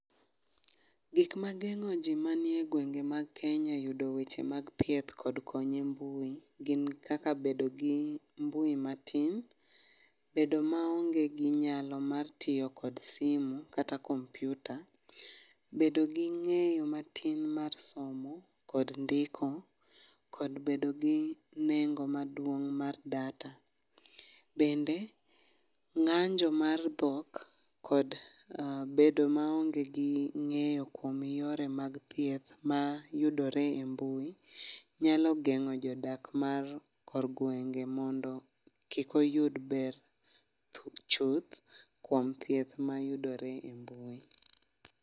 Gik mageng'o ji manie e gwenge mag Kenya e yudo weche mag thieth kod konyo e mbui gin kaka bedo gi mbui matin, bedo maonge gi nyalo mar tiyo kod simu kata kompiuta, bedo gi ng'eyo matin mar somo kod ndiko kod bedo gi nengo maduong' mar data, bende gi ng'anjo mar dhok kod bedo maonge gi ng'eyo kuma yore mag thieth mayudore e mbui, nyalo geng'o jodak mar kor gwenge mondo kik oyud ber chuth kuom thieth mayudore e mbui.